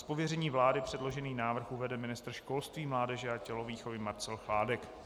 Z pověření vlády předložený návrh uvede ministr školství, mládeže a tělovýchovy Marcel Chládek.